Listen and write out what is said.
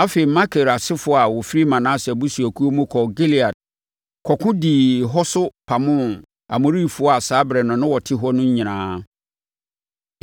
Afei, Makir asefoɔ a wɔfiri Manase abusuakuo mu kɔɔ Gilead kɔko dii hɔ so pamoo Amorifoɔ a saa ɛberɛ no na wɔte hɔ no nyinaa.